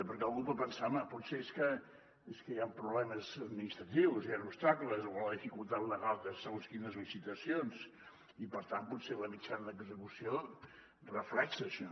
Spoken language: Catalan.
perquè algú pot pensar home potser és que hi han problemes administratius hi han obstacles o la dificultat legal de segons quines licitacions i per tant potser la mitjana d’execució reflecteix això